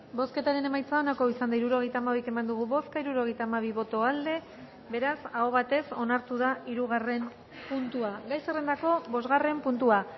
bozketaren emaitza onako izan da hirurogeita hamabi eman dugu bozka hirurogeita hamabi boto aldekoa beraz aho batez onartu da hirugarren puntua gai zerrendako bosgarren puntua